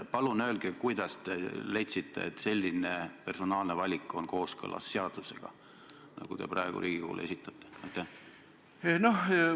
Palun öelge, kuidas te leidsite, et selline personaalne valik, nagu te praegu Riigikogule esitate, on kooskõlas seadusega?